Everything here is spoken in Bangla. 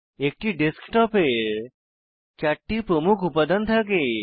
একটি ডেস্কটপের 4 টি প্রমুখ উপাদান থাকে